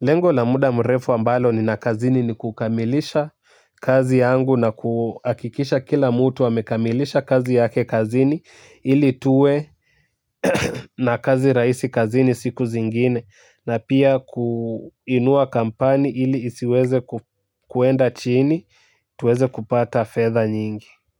lengo la muda mrefu ambalo nina kazini ni kukamilisha kazi yangu na kuhakikisha kila mtu amekamilisha kazi yake kazini ili tuwe na kazi rahisi kazini siku zingine na pia kuinua kampani ili isiweze kuenda chini tuweze kupata fedha nyingi. Kwa hivyo.